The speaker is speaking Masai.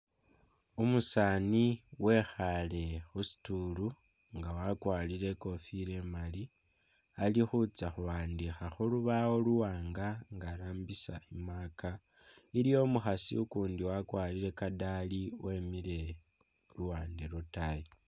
Umusaani wekhale khu stool nga wakwalire ikofilo imali, ali khutsya khuwandikha khulubawo luwanga nga arambisa i'marker, iliwo umukhasi ukundi wakwarire kadaali wemile luwande lwotayi